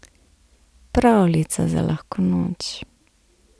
Pravljica za lahko noč.